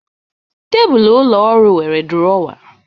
Tebụl ụlọ ọrụ nwere duruowa